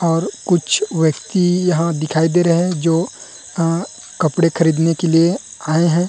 और कुछ व्यक्ति यहाँ दिखाई दे रहे है जो अ कपड़े खरीदने के लिए आये है।